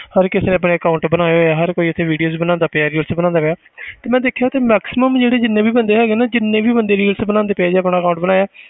ਹਰ ਕਿਸੇ ਨੇ ਆਪਣੇ account ਬਣਾਏ ਹੋਏ ਹੈ ਹਰ ਕੋਈ ਉੱਥੇ videos ਬਣਾਉਂਦਾ ਪਿਆ reels ਬਣਾਉਂਦਾ ਪਿਆ ਤੇ ਮੈਂ ਦੇਖਿਆ ਕਿ maximum ਜਿਹੜੇ ਜਿੰਨੇ ਵੀ ਬੰਦੇ ਹੈਗੇ ਨਾ ਜਿੰਨੇ ਵੀ ਬੰਦੇ reels ਬਣਾਉਂਦੇ ਪਏ ਆ ਆਪਣਾ account ਬਣਾਇਆ